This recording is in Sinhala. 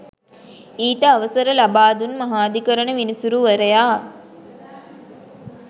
ඊට අවසර ලබාදුන් මහාධිකරණ විනිසුරුවරයා